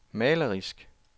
malerisk